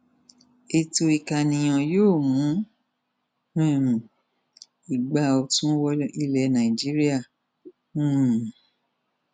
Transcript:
ètò ìkànìyàn yóò mú um igba ọtún wọ ilẹ nàìjíríà um